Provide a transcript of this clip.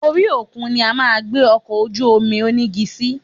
Orí òkun ni a máa gbé ọkọ̀ ojú-omi onígi sí